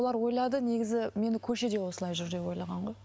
олар ойлады негізі мені көшеде осылай жүр деп ойлаған ғой